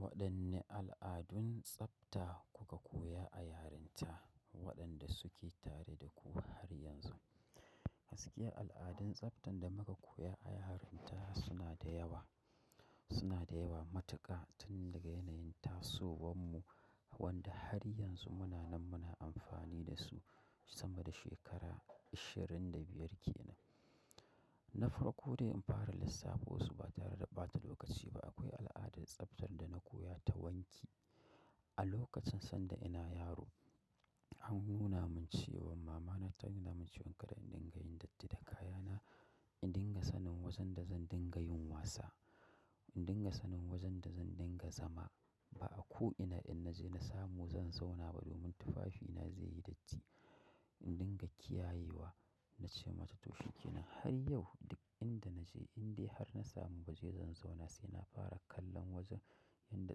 Waɗanne al'adun tsafta kuka koya a yarinta waɗanda suke tare da ku har yanzu? Gaskiya al'adun tsaftar da muka koya a yarinta suna da yawa, suna da yawa matuƙa tun daga yanayin tasowan mu wanda har yanzu muna nan muna amfani da su sama da shekara ashirin da biyar kenan. Nafarko dai in fara lissafo su ba tare da ɓata lokaci ba akwai al'adar tsaftar da na koya ta wanki. A lokacin sanda ina yaro an nuna mun cewa mama na ta nuna mun cewa kada in dinga yin datti da kaya na, in dinga sanin wajen da zan dinga yin wasa, in dinga sanin wajen da zan dinga zama. Ba a ko'ina in naje na samu zan zauna ba domin tufafi na zai yi datti. In dinga kiyayewa na ce mata to shikenan har yau duk inda naje indai har na samu waje zan zauna sai na fara kallon wajen inda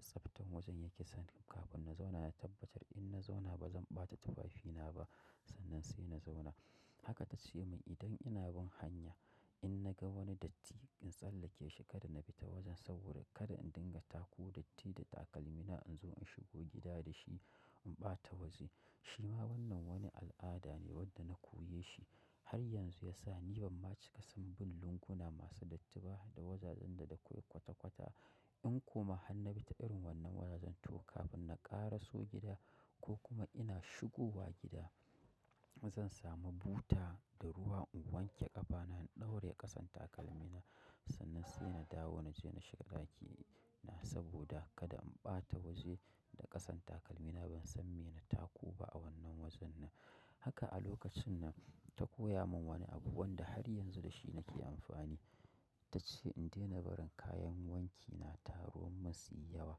tsaftan wajen yake sannan kafin na zauna na tabbatar in na zauna ba zan ɓata tufafi na ba sannan sai na zauna. Haka tace mun idan ina bin hanya in naga wani datti in tsallake shi kada na bi ta wajen saboda kada in dinga tako datti da takalmi na in zo in shigo gida da shi in ɓata waje. Shi ma wannan wani al'ada ne wanda na koya shi har yanzu ya sa ni ban ma cika san bin lunguna masu dattiba da wajajen da da kwata kwata. In kuma han na bi ta irin wannan wajajen to kafin na ƙara so gida ko kuma ina shigowa gida zan samu buta da ruwa in wanke ƙafa na in ɗauraye ƙasan takalmi na sannan sai na dawo na je na shiga ɗaki na saboda kada in ɓata waje da ƙasan takalmi na ban san me na tako ba a wannan wajen nan. Haka a lokacin nan ta koya mun wani abu wanda har yanzu da shi nake amfani. Ta ce in daina barin kayan wanki na taruwa masu yawa.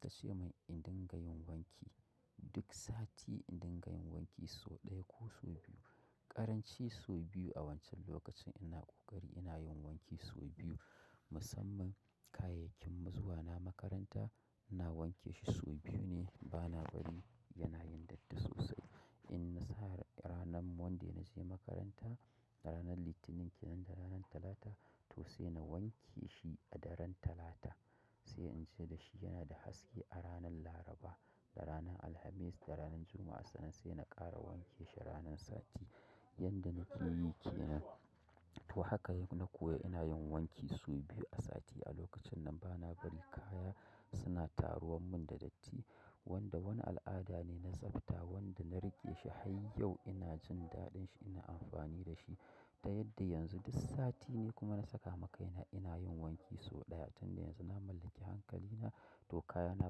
Ta ce mun in dinga yin wanki duk sati in dinga yin wanki sau ɗaya ko sau biyu. Ƙaranci sau biyu a wancan lokacin ina ƙoƙari ina yin wanki sau biyu musamman kayayyakin na zuwa na makaranta ina wanke shi sau biyu ne bana bari yana yin datti sosai. In na sa ranan monday na je makaranta ranan Litinin kenan da ranan Talata to sai na wanke shi a daren Talata sai in je da shi yana da haske a ranan Laraba da ranan Alhamis da ranan Juma'a sannan sai na ƙara wanke shi ranan sati yanda nake yi kenan. To haka na koya ina yin wanki sau biyu a sati a lokacin nan bana bari kaya suna taruwan mun da datti wanda wani al'ada ne na tsafta wanda na riƙe shi har yau ina jin daɗin shi ina amfani da shi. Ta yadda yanzu duk sati ni kuma na saka ma kaina ina yin wanki sau ɗaya tun da yanzu na mallaki hankali na to kaya na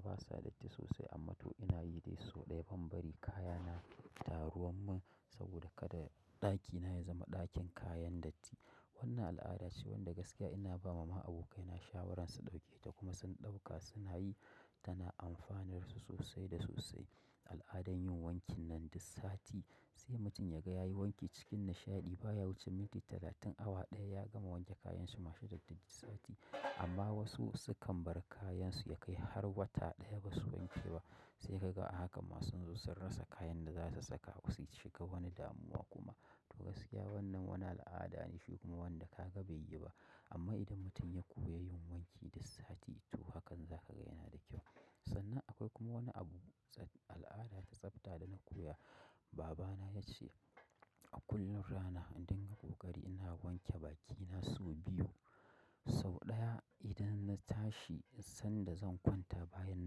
basa datti sosai amma to ina yi dai sau ɗaya ban bari kaya na taruwan mun saboda kada ɗaki na ya zama ɗakin kayan datti. Wannan al'ada ce wanda gaskiya ina bama ma abokai na shawarar su ɗauke ta kuma sun ɗauka suna yi tana amfanar su sosai da sosai. Al'adan yin wankin nan duk sati sai mutum ya ga ya yi wanki cikin nishaɗi baya wuce minti talatin awa ɗaya ya gama wanke kayan shi masu datti duk sati amma wasu su kan bar kayan su ya kai har wata ɗaya ba su wanke ba sai ka ga a haka ma sun zo sun rasa kayan da za su saka su shiga wani damuwa kuma. To gaskiya wannan wani al'ada ne shi kuma wanda ka ga bai yi ba amma idan mutum ya koya yin wanki duk sati to hakan za ka ga yana da kyau. Sannan akwai kuma wani abu al'ada da tsafta da na koya baba na ya ce kullum rana in dinga ƙoƙari ina wanke baki na sau biyu. Sau ɗaya idan na tashi, sanda zan kwanta bayan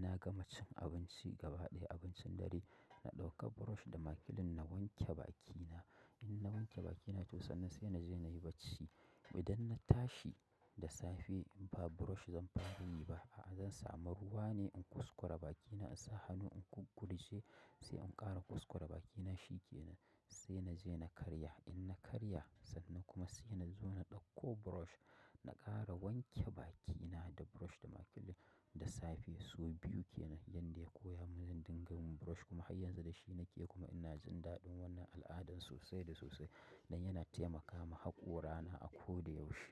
na gama cin abinci gaba ɗaya abincin dare na ɗauke brush da makilin da wanke bakina. In na wanke bakina to sannan sai na je na yi bacci. Idan na tashi da safe ba brush zan fara yi ba a'a zan samu ruwa ne in kuskura bakina in sa hannu in gurguje sai in ƙara kuskura bakina shi kenan sai na je na karya. In na karya sannan kuma sai na zo na ɗauko brush na ƙara wanke bakina da brush da makilin da safe sau biyu kenan yanda ya koya mun zan dinga yin brush kuma har yanzu da shi nake kuma ina jin daɗin wannan al'adan sosai da sosai dan yana taimaka ma haƙora na a ko da yaushe.